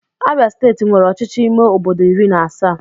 Abịa steeti nwere ọchịchị ime obodo iri na asaa